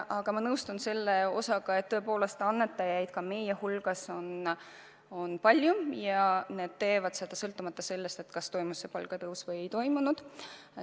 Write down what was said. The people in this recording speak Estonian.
Aga ma nõustun sellega, et tõepoolest annetajaid ka meie hulgas on palju ja nad teevad seda sõltumata sellest, kas on palgatõus toimunud või ei ole toimunud.